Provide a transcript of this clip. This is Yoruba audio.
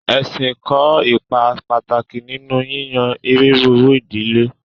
Ẹ̀ṣìn kò ípà pátákì nínú yíyàn iriru idílẹ̀.